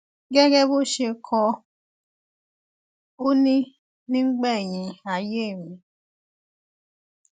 gẹgẹ bó ṣe kọ ọ òní nígbẹyìn ayé mi